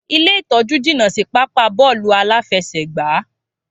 Ilé ìtọ́jú jìnà si pápáa bóòlù aláfesègbá